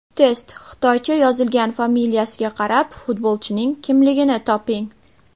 Test: Xitoycha yozilgan familiyasiga qarab, futbolchining kimligini toping!.